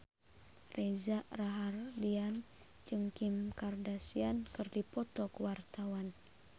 Reza Rahardian jeung Kim Kardashian keur dipoto ku wartawan